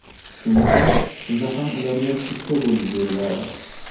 Shunga qarab, pulni ham ularga uchga bo‘lib beriladi.